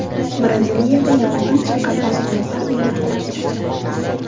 Braziliyada yong‘in chiqqan osmono‘par bino qulab tushdi.